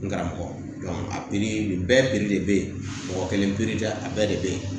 N karamɔgɔ a bɛɛ de bɛ yen mɔgɔ kelen peretɛ a bɛɛ de bɛ ye